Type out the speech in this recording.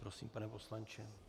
Prosím, pane poslanče.